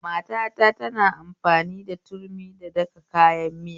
Matata tana amfani turmi da daka kayan miya